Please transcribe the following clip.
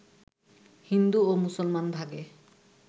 হিন্দু ও মুসলমান ভাগে